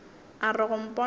a re go mpona a